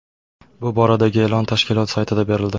Bu boradagi e’lon tashkilot saytida berildi .